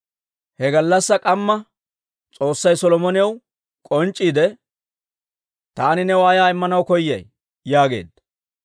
He gallassaa k'amma S'oossay Solomonaw k'onc'c'iide, «Taani new ayaa Immanaw koyay?» yaageedda.